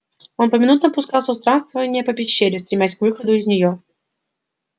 он поминутно пускался в странствования по пещере стремясь к выходу из нее